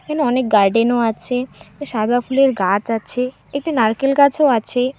এখানে অনেক গার্ডেন -ও আছে সাদা ফুলের গাচ আছে এতে নারকেল গাছও আছে।